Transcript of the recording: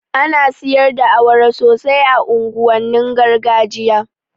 Ana siyar da awara sosai a unguwannin gargajiya